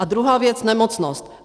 A druhá věc - nemocnost.